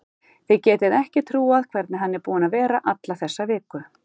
Þið getið ekki trúað hvernig hann er búinn að vera alla þessa viku.